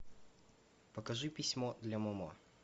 покажи письмо для момо